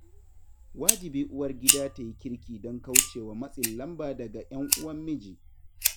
Wajibi uwargida ta yi kirki don kauce wa matsin lamba daga 'yan uwan miji